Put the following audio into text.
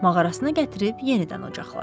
Mağarasına gətirib yenidən ocaqladı.